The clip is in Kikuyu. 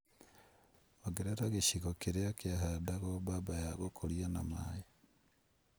Ongerea gĩcigo kĩrĩa kĩhandagwo mbamba ya gũkũrio na maĩ